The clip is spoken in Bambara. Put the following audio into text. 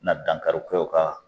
na dankarikɛ u ka